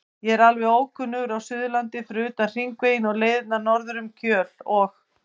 Ég er alveg ókunnugur á Suðurlandi fyrir utan Hringveginn og leiðirnar norður um Kjöl og